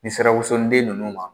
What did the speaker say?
N'i sira wosoden ninnu ma